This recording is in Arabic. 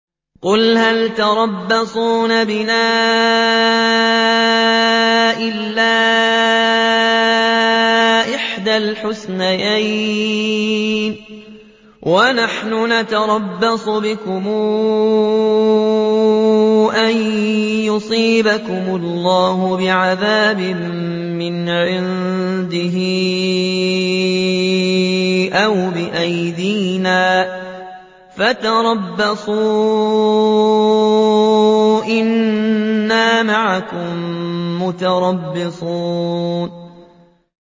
قُلْ هَلْ تَرَبَّصُونَ بِنَا إِلَّا إِحْدَى الْحُسْنَيَيْنِ ۖ وَنَحْنُ نَتَرَبَّصُ بِكُمْ أَن يُصِيبَكُمُ اللَّهُ بِعَذَابٍ مِّنْ عِندِهِ أَوْ بِأَيْدِينَا ۖ فَتَرَبَّصُوا إِنَّا مَعَكُم مُّتَرَبِّصُونَ